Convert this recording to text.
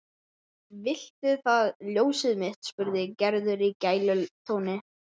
Viltu það ljósið mitt? spurði Gerður í gælutóni.